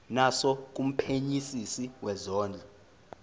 naso kumphenyisisi wezondlo